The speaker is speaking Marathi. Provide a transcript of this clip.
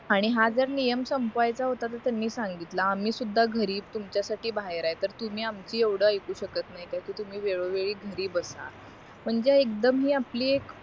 आणि हा जर नियम संपवायचा होता तर त्यांनी सांगितलं आम्ही सुद्धा घरी तुमच्यासाठी बाहेर आहे तर तुम्ही आमची एवढ ऐकू शकत नाही की तुम्ही वेळोवेळी घरी बसा म्हणजे एकदम ही आपली एक